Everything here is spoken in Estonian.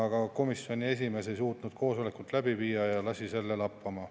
Komisjoni esimees ei suutnud koosolekut läbi viia ja lasi selle lappama.